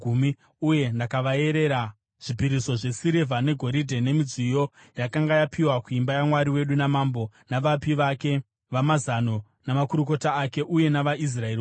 uye ndakavaerera zvipiriso zvesirivha negoridhe nemidziyo yakanga yapiwa kuimba yaMwari wedu namambo navapi vake vamazano namakurukota ake uye navaIsraeri vose.